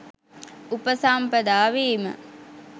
උපසම්පදා වීම :